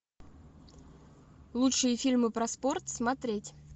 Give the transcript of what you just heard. лучшие фильмы про спорт смотреть